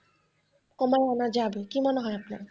কমানো যাবে কি মনে হয় আপনার?